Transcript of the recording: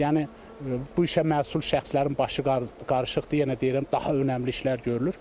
Yəni bu işə məsul şəxslərin başı qarışıqdır, yenə deyirəm, daha önəmli işlər görülür.